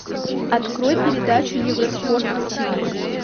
открой передачу евроспорт на тиви